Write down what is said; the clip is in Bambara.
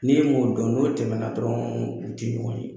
Ni e m'o dɔn n'o tɛmɛna dɔrɔn u ti ɲɔgɔn ye.